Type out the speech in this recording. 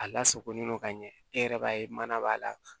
A lasakolen do ka ɲɛ e yɛrɛ b'a ye mana b'a la